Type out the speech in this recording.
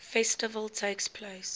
festival takes place